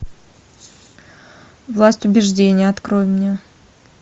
власть убеждения открой мне